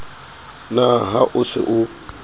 na ha o se o